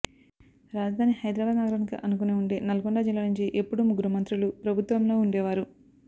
రాజధాని హైదరాబాద్ నగరానికి అనుకుని ఉండే నల్గొండ జిల్లా నుంచి ఎప్పుడూ ముగ్గురు మంత్రులు ప్రభుత్వంలో ఉండేవారు